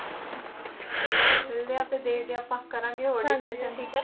ਚਲੋ ਮਿਲਦੇ ਆ ਫੇਰ ਦੇਖਦੇ ਆ ਆਪਾਂ ਕਰਾਂਗੇ ਹੋਰ discussion ਠੀਕ ਐ